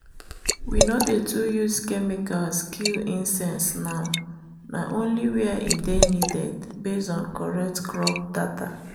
we no dey too use chemicals kill insects now na only where e dey needed based on correct crop data.